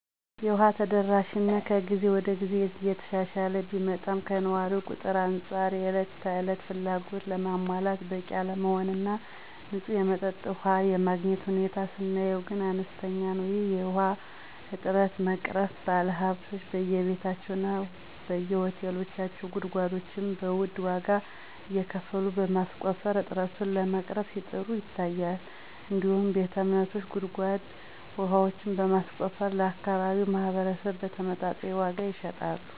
የውሃ ተደራሽነት ከግዜ ወደ ግዜ እየተሻሻለ ቢመጣም ከነዋሪው ቁጥር አንፃር የእለት ተለት ፍላጎትን ለማሟላት በቂ አለመሆን እና ንፁህ የመጠጥ ውሃ የማግኘት ሁኔታ ስናየው ግን አነስተኛ ነው። ይህን የውሃ እጥረት ለመቅረፍ ባለሀብቶች በየቤታቸው እና በየሆቴሎቻቸው ጉድጓዶችን በዉድ ዋጋ እየከፈሉ በማስቆፈር እጥረቱን ለመቅረፍ ሲጥሩ ይታያል። እንዲሁም ቤተ እምነቶች ጉድጓድ ውሃዎችን በማስቆፈር ለአካባቢው ማህበረስብ በተመጣጣኝ ዋጋ ይሸጣሉ።